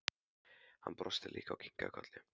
Hann brosti líka og kinkaði kolli.